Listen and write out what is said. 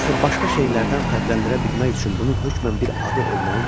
Axı başqa şeylərdən fərqləndirə bilmək üçün bunun hökmən bir adı olmalıdır.